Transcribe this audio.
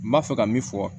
N b'a fɛ ka min fɔ